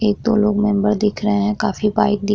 एक-दो लोग मेम्बर दिख रहे हैं काफी वाइट दिख --